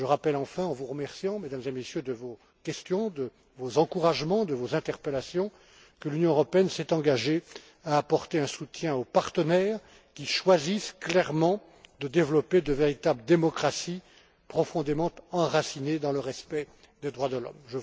Je rappelle enfin, en vous remerciant, Mesdames et Messieurs, de vos questions, de vos encouragements, de vos interpellations, que l'Union européenne s'est engagée à apporter un soutien aux partenaires qui choisissent clairement de développer de véritables démocraties, profondément enracinées dans le respect des droits de l'homme.